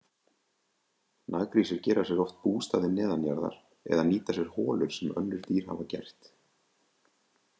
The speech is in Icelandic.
Naggrísir gera sér oft bústaði neðanjarðar eða nýta sér holur sem önnur dýr hafa gert.